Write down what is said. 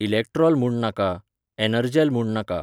इलॅक्ट्रॉल म्हूण नाका, एनर्जेल म्हूण नाका.